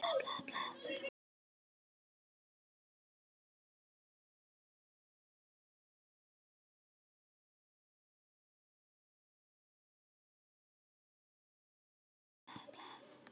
Krakkarnir siluðust af stað.